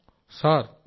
Rajesh Prajapati sir